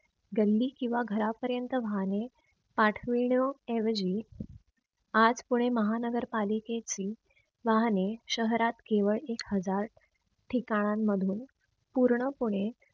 गल्ली किंव्हा घरापर्यंत वाहने पाठविण्या ऐवजी आत कोणी महानगर पालिकेची वाहने शहरात केवळ एक हजार ठिकाणांमधून पूर्ण पणे